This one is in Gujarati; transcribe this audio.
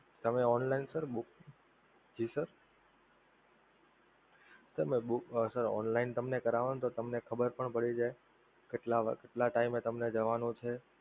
તમે online sir book જી sir તમે book sir online તમે કરાવો તો તમને ખબર પણ પડી જાય કેટલા વાગ્યે કેટલા time એ તમારે જવાનું છે?